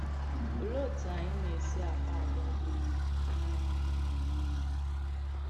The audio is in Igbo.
Òlee òtù ànyị̀ na-esì àkpà àgwà̀ dị mma “n’ànyà mmadù nìle”?